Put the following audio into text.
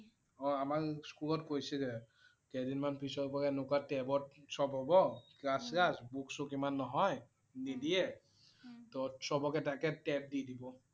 অ' আমাৰ স্কুলত কৈছিলে। কেইদিনমান পিছৰ পৰা এনেকুৱা tab ত সব হ'ব ক্লাছ-শ্লাছ, book - sook ইমান নহয়, নিদিয়ে তহ সবকে এটাকে tab দি দিব